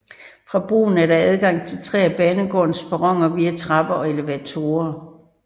Fra broen er der adgang til tre af banegårdens perroner via trapper og elevatorer